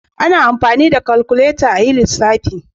Ana amfani da kalkuleta a ajin lissafi.